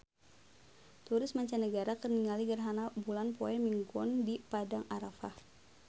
Turis mancanagara keur ningali gerhana bulan poe Minggon di Padang Arafah